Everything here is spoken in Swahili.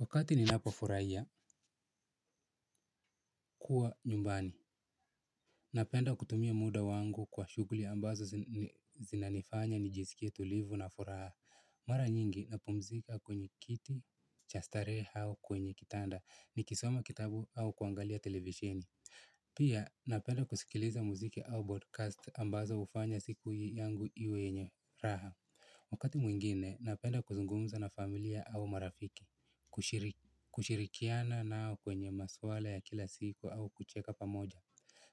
Wakati ninapofurahia kuwa nyumbani napenda kutumia muda wangu kwa shughuli ambazo zinanifanya nijisikie tulivu na furaha. Mara nyingi napumzika kwenye kiti cha starehe au kwenye kitanda nikisoma kitabu au kuangalia televisheni. Pia napenda kusikiliza muziki au broadcast ambazo hufanya siku yangu iwe yenye raha. Wakati mwingine napenda kuzungumza na familia au marafiki kushirikiana nao kwenye maswala ya kila siku au kucheka pamoja.